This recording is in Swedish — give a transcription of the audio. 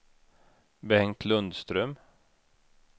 Bengt Lundström